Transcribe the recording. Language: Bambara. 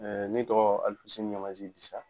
Ne tɔgɔ aloufousseni ɲamazi disa